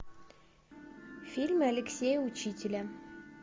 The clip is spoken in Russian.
фильмы алексея учителя